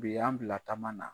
Bi y'an bila taama na.